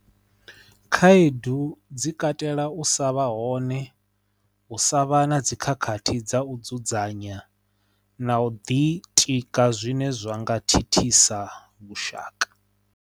Khaedu dzi katela u sa vha hone u sa vha na dzikhakhathi dza u dzudzanya na u ḓi tika zwine zwa nga thithisa vhushaka.